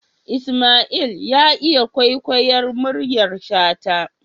Isma'il ya iya kwaikwayar muryar shata